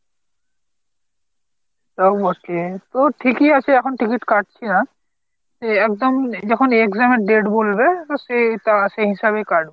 তাও okay। তাও ঠিকই আছে এখন ticket কাটছি না একদম যখন exam এর date বলবে তো সে তা সেই হিসাবে কাটবো।